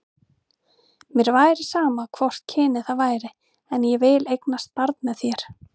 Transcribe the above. Mér væri sama hvort kynið það væri, en ég vil eignast barn með þér.